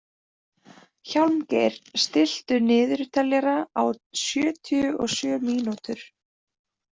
Hjálmgeir, stilltu niðurteljara á sjötíu og sjö mínútur.